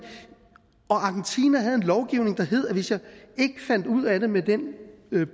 og argentina havde en lovgivning der hed at hvis jeg ikke fandt ud af det med den